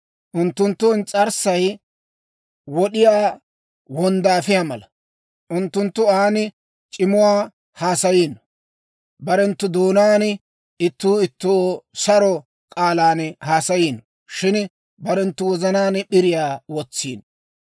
Unttunttu ins's'arssay wod'iyaa wonddaafiyaa mala; unttunttu an c'imuwaa haasayiino. Barenttu doonaan ittuu ittoo saro k'aalan haasayiino; shin barenttu wozanaan p'iriyaa wotsiino.